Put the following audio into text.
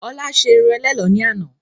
Ọlá ṣé irun ẹlẹ́lọ̀ ni àná.